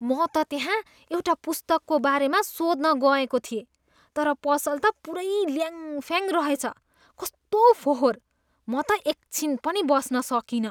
म त त्यहाँ एउटा पुस्तकको बारेमा सोध्न गएको थिएँ। तर पसल त पुरै ल्याङ्फ्याङ रेहछ। कस्तो फोहोर! म त एकछिन पनि बस्न सकिनँ।